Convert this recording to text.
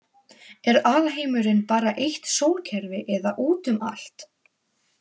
Er alheimurinn bara eitt sólkerfi eða útum allt?